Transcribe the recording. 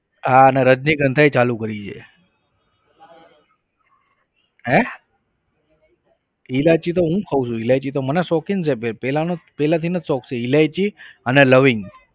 હા અને રજનીગંધાય ચાલુ કરી છે હે? ઈલાયચી તો હું ખાઉં છું ઈલાયચી તો મને શોખીન છે ભાઈ પહેલા પહેલાથી ને જ શોખ છે. ઈલાયચી અને લવિંગ.